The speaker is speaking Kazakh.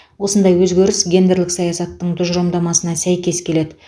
осындай өзгеріс гендерлік саясаттың тұжырымдамасына сәйкес келеді